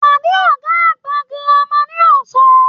Pade ọgá àgbà gírámà ní ọsán!